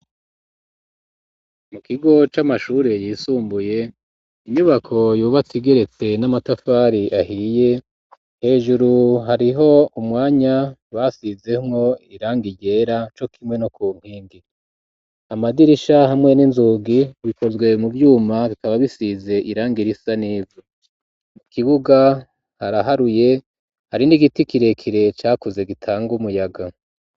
Mu kigo c'amashure yisumbuye inyubako yubatse igeretse n'amatafari ahiye hejuru hariho umwanya basizemwo irangi ryera co kimwe no ku nkingi amadirisha hamwe n'inzugi bikozwe mu vyuma bikaba bisize irangi risa n'ivu ikibuga haraharuye hari n'igiti kirekire cakuze gitanga umuyaga